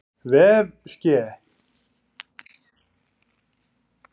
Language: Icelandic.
vef SKE.